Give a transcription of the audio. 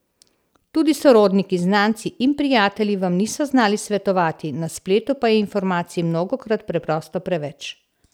Tudi sorodniki, znanci in prijatelji vam niso znali svetovati, na spletu pa je informacij mnogokrat preprosto preveč.